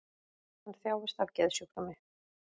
Hann þjáist af geðsjúkdómi